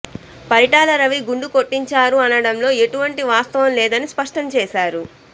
పరిటాల రవి గుండు కొట్టించారు అనడంలో ఎటువంటి వాస్తవం లేదని స్పష్టం చేశారు